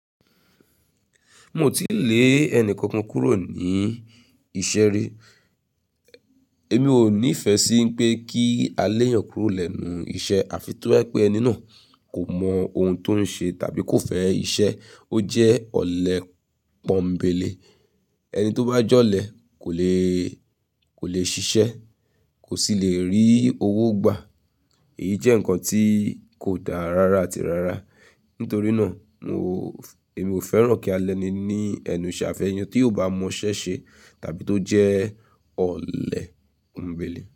Mio ti lè ẹni kankan kúrò ní iṣẹ́ ri. Èmi ò nífẹ̀ẹ́ sí pé kí a lé èyàn kúrò lẹ́nu iṣẹ́ àfi tí ó ba jepé ẹni náà kò mọ ohun tó ń ṣe tàbí kò fẹ́ iṣẹ́. Ó jẹ́ ọ̀lẹ pọ́nńbélé, ẹni tó bá jọ́lẹ̀ kò lè, kò lè ṣiṣẹ́, kò sì lè rí owó gbà. Èyí jẹ́ ǹkan tí kò dára rara àti rara. Nítorí náà mi ò, èmi ò fẹ́ràn kí a lẹni ní ẹnu iṣẹ́ afẹ́eyan tí ò bá mọ ṣẹ́ ṣe tàbí tó jẹ́ ọ̀lẹ pọ́nńbélé.